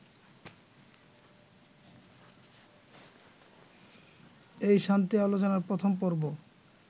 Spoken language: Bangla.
এই শান্তি আলোচনার প্রথম পর্ব